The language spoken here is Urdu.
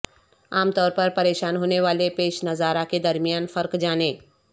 عام طور پر پریشان ہونے والے پیش نظارہ کے درمیان فرق جانیں